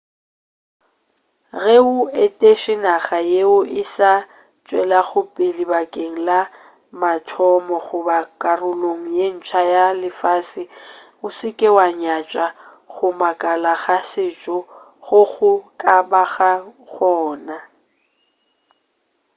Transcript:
ge o etetše naga yeo e sa tšwelagopele bakeng la mathomo goba karolong ye ntsa ya lefase o se ke wa nyatša go makala ga setšo go go ka bago gona